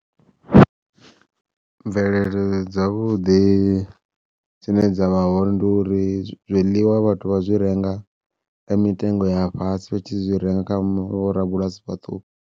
Mvelele dzavhuḓi dzine dza vha hone ndi uri zwiḽiwa vhathu vha zwi renga nga mitengo ya fhasi vha tshi renga kha vho rabulasi vhaṱuku.